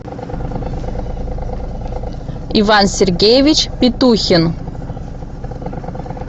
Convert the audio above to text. иван сергеевич петухин